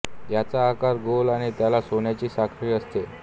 याचा आकार गोल आणि त्याला सोन्याची साखळी असते